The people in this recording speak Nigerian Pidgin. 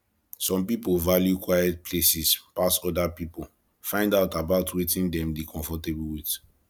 some pipo value quiet places pass oda pipo find out about wetin dem dey comfortable with